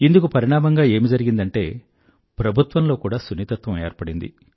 ఇందుకు పరిణామంగా ఏమి జరిగిందంటే ప్రభుత్వంలో కూడా సున్నితత్వం ఏర్పడింది